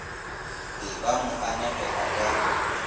be ba mo anegela ka